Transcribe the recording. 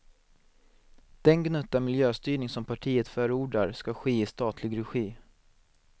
Den gnutta miljöstyrning som partiet förordar ska ske i statlig regi.